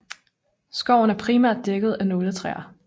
Skoven er primært dækket af nåletræer